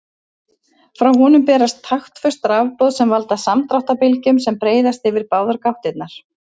Frá honum berast taktföst rafboð sem valda samdráttarbylgjum sem breiðast yfir báðar gáttirnar.